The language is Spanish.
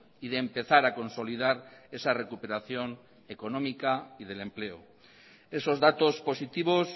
y de empezar a consolidar esa recuperación económica y del empleo esos datos positivos